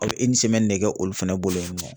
Aw bi ne kɛ olu fɛnɛ bolo yen nɔ